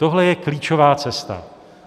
Tohle je klíčová cesta.